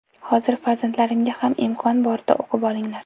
Hozir farzandlarimga ham imkon borida o‘qib olinglar.